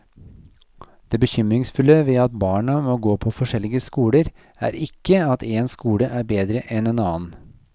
Det bekymringsfulle ved at barna må gå på forskjellige skoler, er ikke at én skole er bedre enn en annen.